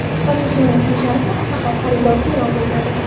Sotuvchining ism-sharifi faqat xaridorga e’lon qilinadi.